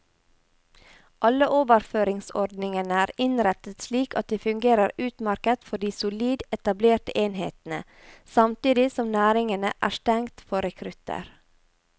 Alle overføringsordningene er innrettet slik at de fungerer utmerket for de solid etablerte enhetene, samtidig som næringene er stengt for rekrutter.